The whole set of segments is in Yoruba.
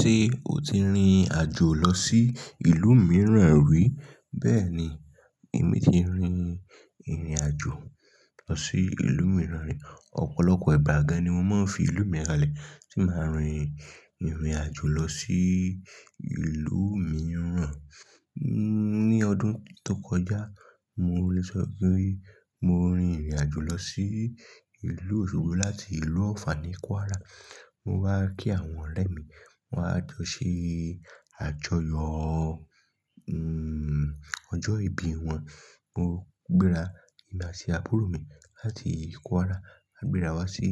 Ṣé o ti rin àjò lọ sí ìlú mìíràn rí? Bẹ́ẹ̀ni, èmi ti rin ìrìn àjò lọ sí ìlú mìíràn rí. Ọ̀pọ̀lọpọ̀ ìgbà gan-an ni mo máa ń fi ìlú mi kalẹ̀ tí màá rin ìrìn àjò lọ sí ìlú mìíràn. Ni ọdún tó kọjá, mo lè sọ pé mo rin ìrìn àjò lọ sí ìlú Òṣogbo láti ìlú Ọ̀fà ní Kwara. Mo wá kí àwọn ọ̀rẹ́ mi. Wọ́n a jó ṣe àjọyọ̀ ọjọ́ ìbí wọn. Mo gbéra, èmi àti àbúrò mi láti ìlú Kwara, a gbéra wá sí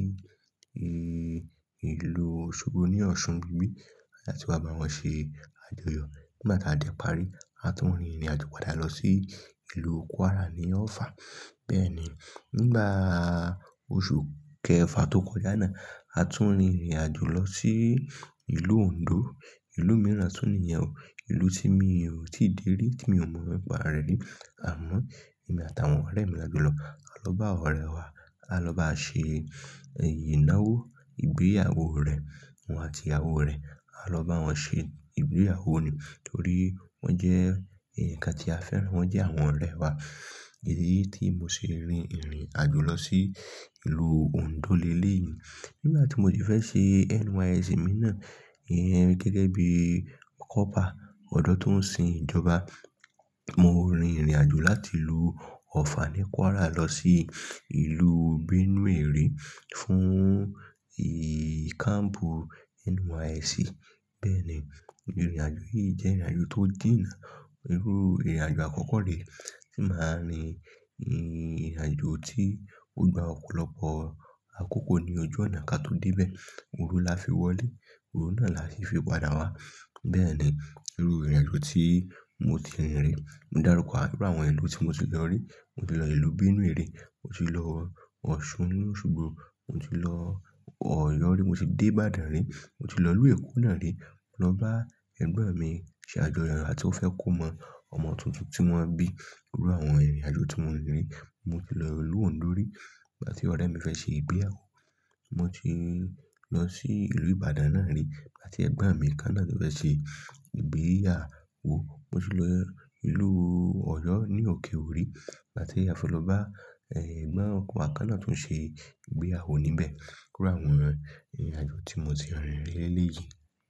ìlú Òṣogbo ní Ọ̀ṣun níbí láti wá bá wọn ṣe àjọyọ̀. Nígbà tí a dé parí, a tún rin ìrìn àjò padà lọ sí ìlú Kwara ní Ọ̀fà. Bẹ́ẹ̀ ni, nígbà oṣù kẹfà tó kọjá náà, a tún rin ìrìn àjò lọ sí ìlú Ondo. Ìlú mìíràn tún nìyẹn o, ìlú tí mi ò tíì dé rí, tí mi ò mọ nípa rẹ̀ rí. Àmọ́, èmi àtàwọn ọ̀rẹ́ mi láti lọ. A lọ bá ọ̀rẹ́ wa, a lọ bá ṣe ìnáwó ìgbéyàwó ọ̀rẹ́ wọn àti ìyàwó rẹ̀. A lọ bá wọn ṣe ìgbéyàwó ni torí wọ́n jẹ́ ẹ̀yán kan tí a fẹ́ràn, wọ́n jẹ́ àwọn ọ̀rẹ́ wa. Èyí ni tí mo ṣe rin ìrìn àjò lọ sí ìlú Ondo lé lé yìí. Nígbà tí mo dẹ̀ fẹ́ ṣe NYSC mi náà, ẹ̀hn gẹ́gẹ́ bí kọ́pà ọdọ́ tó ń sin ìjọba, mo rin ìrìn àjò láti ìlú Ọ̀fà ní Kwara lọ sí ìlú Benue rí fún káàmpù NYSC. Bẹ́ẹ̀ ni, ìrìn àjò yìí jẹ́ ìrìn àjò tó jìnà. Irú ìrìn àjò àkọ́kọ́ lè tí màá rin, ìrìn àjò tí ó gba ọ̀pọ̀lọpọ̀ àkókò ní ojú ọ̀nà kí a tó dé ibẹ̀. Òru la fi wọlé, òru náà la sì fi padà wá. Bẹ́ẹ̀ ni irú ìrìn àjò tí mo ti rin rí. Mo dárúkọ àduru àwọn ìlú tí mo ti lọ rí. Mo ti lọ ìlú Benue rí, mo ti lọ Ọ̀ṣun ní Òṣogbo, mo ti lọ Ọ̀yọ́ rí, mo ti dé Ìbàdàn rí, mo ti lọ ìlú Èkó náà rí. Mo lọ bá ẹ̀gbọ́n mi ṣe àjọyọ̀ àti ó fẹ́ kó mọ ọmọ tuntun tí wọ́n bí. Irú àwọn ìrìn àjò tí mo rin rin. Mo ti lọ ìlú Ondo rí nígbà tí ọ̀rẹ́ mi fẹ́ ṣe ìgbéyàwó. Mo ti lọ sí ìlú Ìbàdàn náà rí nígbà tí ẹ̀gbọ́n mi kànnà tí fẹ́ ṣe ìgbéyàwó. Mo ti lọ ìlú Ọ̀yọ́ ní Okè Òri nígbà tí a fẹ́ loba, ẹ̀gbọ́n ọ kọ kanna tó ń ṣe ìgbéyàwó níbẹ̀. Irú àwọn ìrìn àjò tí mo ti rin rí lé lé yìí.